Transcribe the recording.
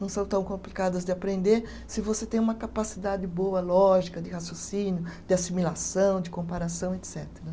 Não são tão complicadas de aprender se você tem uma capacidade boa, lógica, de raciocínio, de assimilação, de comparação, etcetera